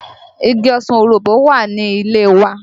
Igi ọsàn òroǹbó wà ní ilé e wa